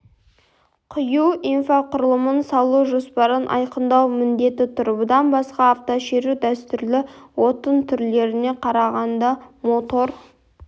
құю инфрақұрылымын салу жоспарын айқындау міндеті тұр бұдан басқа автошеру дәстүрлі отын түрлеріне қарағанда мотор